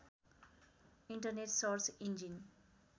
internet search engine